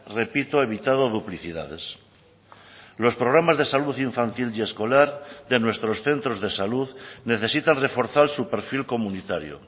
repito evitado duplicidades los programas de salud infantil y escolar de nuestros centros de salud necesitan reforzar su perfil comunitario